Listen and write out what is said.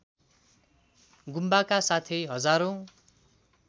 गुम्बाका साथै हजारौँ